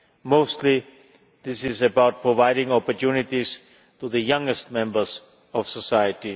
Mostly this is about providing opportunities to the youngest members of society.